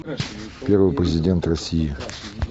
первый президент россии